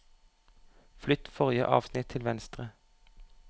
Flytt forrige avsnitt til venstre